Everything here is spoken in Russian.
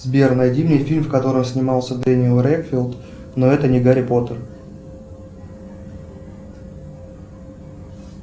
сбер найди мне фильм в котором снимался дениел редклиф но это не гарри поттер